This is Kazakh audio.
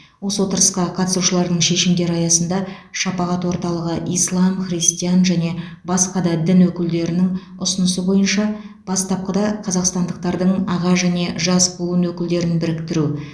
осы отырысқа қатысушылардың шешімдері аясында шапағат орталығы ислам христиан және басқа да дін өкілдері өкілдерінің ұсынысы бойынша бастапқыда қазақстандықтардың аға және жас буын өкілдерін біріктіру